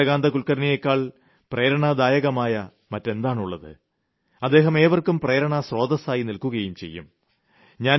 ചന്ദ്രകാന്ത കുൽക്കർണിയേക്കാൾ പ്രേരണാദായകമായ മറ്റെന്താണുള്ളത് അദ്ദേഹം ഏവർക്കും പ്രേരണാസ്രോതസ്സായി നിൽക്കുകതന്നെ ചെയ്യും